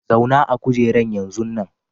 Zauna a'kujeran yanzun nan!